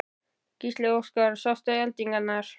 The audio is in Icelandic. Gísli Óskarsson: Sástu eldingar?